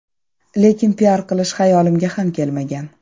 Lekin piar qilish xayolimga ham kelmagan.